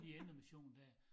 De indremission dér